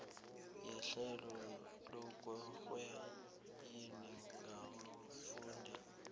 yehlelo lokurweyila ngabafundi